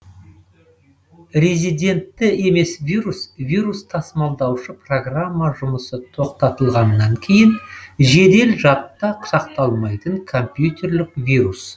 резидентті емес вирус вирус тасымалдаушы программа жұмысы тоқтатылғаннан кейін жедел жадта сақталмайтын компьютерлік вирус